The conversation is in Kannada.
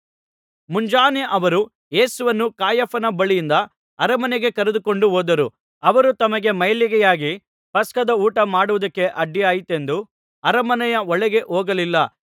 ಮುಂಜಾನೆ ಅವರು ಯೇಸುವನ್ನು ಕಾಯಫನ ಬಳಿಯಿಂದ ಅರಮನೆಗೆ ಕರೆದುಕೊಂಡು ಹೋದರು ಅವರು ತಮಗೆ ಮೈಲಿಗೆಯಾಗಿ ಪಸ್ಕದ ಊಟ ಮಾಡುವುದಕ್ಕೆ ಅಡ್ಡಿಯಾದೀತೆಂದು ಅರಮನೆಯ ಒಳಗೆ ಹೋಗಲಿಲ್ಲ